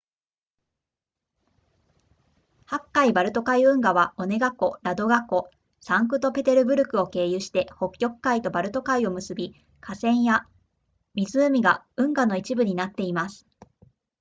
白海バルト海運河はオネガ湖ラドガ湖サンクトペテルブルクを経由して北極海とバルト海を結び河川や湖が運河の一部になっています